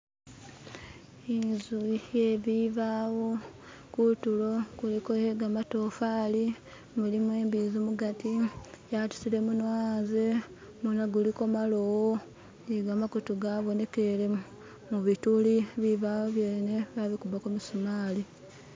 Inzu iye bibawo, kuntulo kuliko iye gamatofaali mulimo imbizi mugati yatusire gumunwa yanze, gumunwa guliko bulowo ni gamakutu gabonekele mo bituri bibaawo byene bakubbako jjimisumali